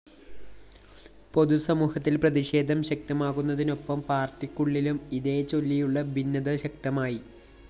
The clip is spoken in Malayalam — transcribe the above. പൊതുസമൂഹത്തില്‍ പ്രതിഷേധം ശക്തമാകുന്നതിനൊപ്പം പാര്‍ട്ടിക്കുള്ളിലും ഇതേച്ചൊല്ലിയുള്ള ഭിന്നത ശക്തമായി